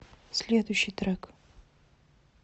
следующий трек